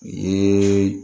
Un